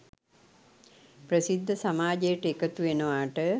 ප්‍රසිද්ධ සමාජයට එකතු වෙනවාට